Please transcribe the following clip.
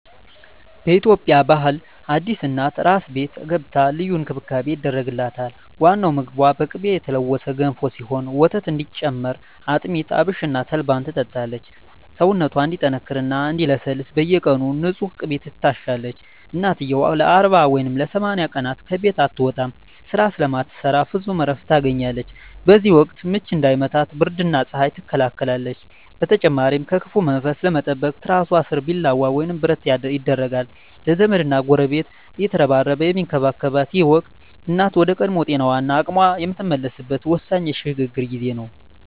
በኢትዮጵያ ባህል አዲስ እናት "አራስ ቤት" ገብታ ልዩ እንክብካቤ ይደረግላታል። ዋናው ምግቧ በቅቤ የተለወሰ ገንፎ ሲሆን፣ ወተት እንዲጨምር አጥሚት፣ አብሽና ተልባን ትጠጣለች። ሰውነቷ እንዲጠነክርና እንዲለሰልስ በየቀኑ በንፁህ ቅቤ ትታሻለች። እናትየው ለ40 ወይም ለ80 ቀናት ከቤት አትወጣም፤ ስራ ስለማትሰራ ፍጹም እረፍት ታገኛለች። በዚህ ወቅት "ምች" እንዳይመታት ብርድና ፀሐይ ትከላከላለች። በተጨማሪም ከክፉ መንፈስ ለመጠበቅ ትራሷ ስር ቢላዋ ወይም ብረት ይደረጋል። ዘመድና ጎረቤት እየተረባረበ የሚንከባከባት ይህ ወቅት፣ እናት ወደ ቀድሞ ጤናዋና አቅሟ የምትመለስበት ወሳኝ የሽግግር ጊዜ ነው።